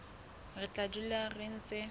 re tla dula re ntse